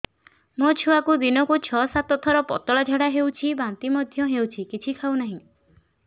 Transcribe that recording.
ମୋ ଛୁଆକୁ ଦିନକୁ ଛ ସାତ ଥର ପତଳା ଝାଡ଼ା ହେଉଛି ବାନ୍ତି ମଧ୍ୟ ହେଉଛି କିଛି ଖାଉ ନାହିଁ